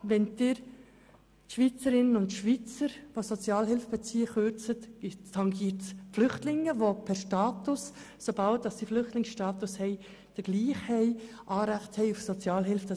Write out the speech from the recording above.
: Wenn Sie bei Schweizerinnen und Schweizern, die Sozialhilfe beziehen, kürzen, tangiert dies die Flüchtlinge, die per Status, sobald sie den Flüchtlingsstatus erhalten, gleichermassen Anrecht auf Sozialhilfe haben.